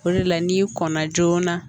O de la n'i kɔn na joona